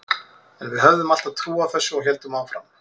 En við höfðum alltaf trú á þessu og héldum áfram.